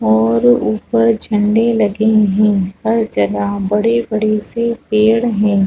और ऊपर झंडे लगे हैं पर जगह बड़े-बड़े से पेड़ है।